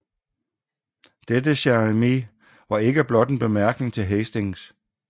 Dette Cher ami var ikke blot en bemærkning til Hastings